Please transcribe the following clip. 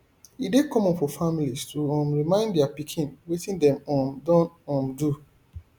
e dey common for families to um remind dia pikin wetin dem um don um do